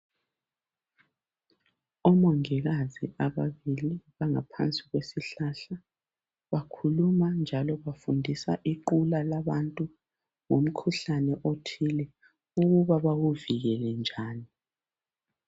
Omongikazi ababili bangaphansi kwesihlahla bakhuluma njalo bafundisa iqula labantu ngomkhuhlane othile ukuba bawuvikele njani